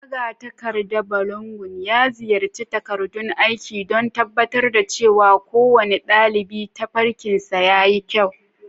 Magatakarda Balogun ya nazarci takardun aiki don tabbatar da cewa kowane ɗalibi tafarkinsa ya yi kyau.